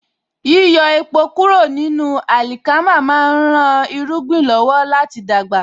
Yíyọ èpò kúrò ní àlìkámà má ń rán irúgbìn lọ́wọ́ láti dàgbà